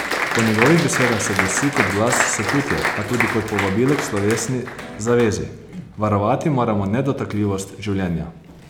Po njegovih besedah se glasi kot glas sočutja, a tudi kot povabilo k slovesni zavezi: "Varovati moramo nedotakljivost življenja.